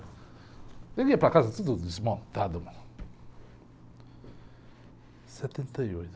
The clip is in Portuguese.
Eu ia para casa tudo desmontado mesmo. Setenta e oito.